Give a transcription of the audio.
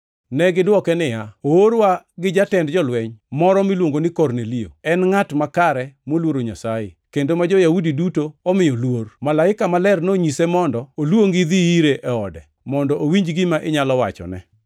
Negidwoke niya, “Oorwa gi jatend jolweny moro miluongo ni Kornelio. En ngʼat makare moluoro Nyasaye, kendo ma jo-Yahudi duto omiyo luor. Malaika maler nonyise mondo oluongi idhi ire e ode mondo owinj gima inyalo wachone.”